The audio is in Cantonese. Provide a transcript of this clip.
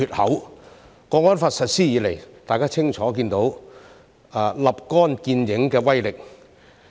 《香港國安法》實施以來，大家清楚看到立竿見影的威力。